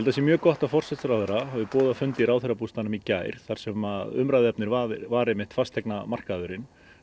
það sé mjög gott að forsætisráðherra hafi boðað fund í ráðherrabústaðnum í gær þar sem umræðuefnið var var einmitt fasteignamarkaðurinn